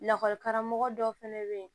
Lakɔlikaramɔgɔ dɔ fɛnɛ bɛ yen